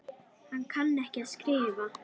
Hann kann ekki að skrifa.